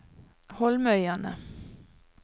Holmøyane